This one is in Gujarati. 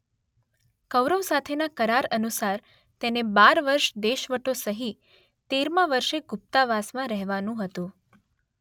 કૌરવ સાથેના કરાર અનુસાર તેને બાર વર્ષ દેશવટો સહી તેરમા વર્ષે ગુપ્તાવાસમાં રહેવાનુ હતું